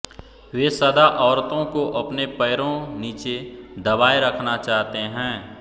वे सदा औरतों को अपने पैरों नीचे दबाए रखना चाहते हैं